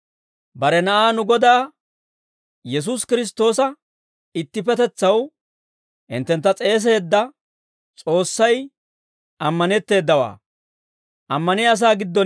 Bare Na'aa nu Godaa Yesuusi Kiristtoosa ittippetetsaw hinttentta s'eeseedda S'oossay ammanetteedawaa.